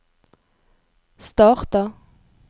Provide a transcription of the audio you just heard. starta